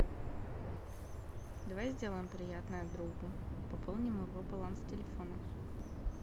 давай сделаем приятное другу пополним его баланс телефона